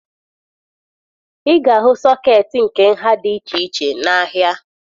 Ị ga-ahụ sọkeetị nke nha dị iche iche n'ahịa